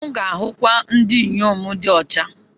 M ga-ahụkwu ndị inyom di ọcha.